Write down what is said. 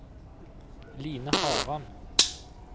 Line Haram